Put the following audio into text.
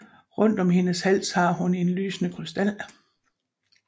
Rundt om hendes hals har hun en lysende krystal